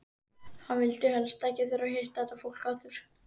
Hann vildi helst ekki þurfa að hitta þetta fólk aftur!